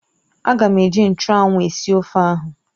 Ága m eji nchụ́anwu esi ofe ahụ